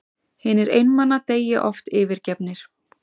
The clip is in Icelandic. Hinir einmana deyja oft yfirgefnir.